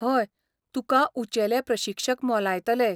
हय, तुका ऊंचेले प्रशिक्षक मोलायतले.